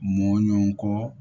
Mɔɲɔn kɔ